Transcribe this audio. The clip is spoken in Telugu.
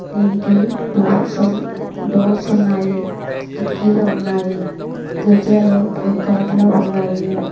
దీనికి డోర్స్ ఉన్నాయి కిటికీలు ఉన్నాయి గజాలు బ్లూ కలర్ లో ఉన్నాయి.